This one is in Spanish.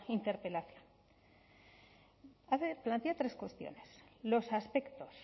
interpelación plantea tres cuestiones los aspectos